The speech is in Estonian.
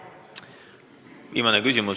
Viimane küsimus.